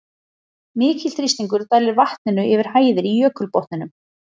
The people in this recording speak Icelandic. Mikill þrýstingur dælir vatninu yfir hæðir í jökulbotninum.